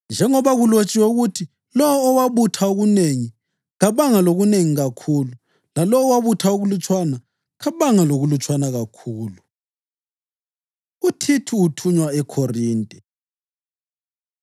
njengoba kulotshiwe ukuthi: “Lowo owabutha okunengi kabanga lokunengi kakhulu, lalowo owabutha okulutshwana kabanga lokulutshwana kakhulu.” + 8.15 U-Eksodasi 16.18 UThithu Uthunywa EKhorinte